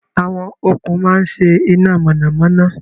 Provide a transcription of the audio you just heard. Àwọn okùn máa ń ṣe iná mọ̀nàmọ́ná.